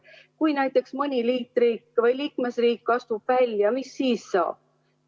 Kui näiteks mõni liikmesriik astub välja, mis siis saab?